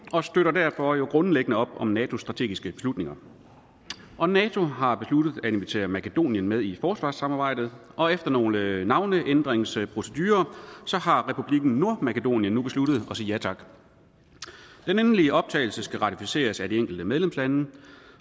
og støtter derfor grundlæggende op om natos strategiske beslutninger og nato har besluttet at invitere makedonien med i forsvarssamarbejdet og efter nogle navneændringsprocedurer har republikken nordmakedonien nu besluttet at sige ja tak den endelige optagelse skal ratificeres af de enkelte medlemslande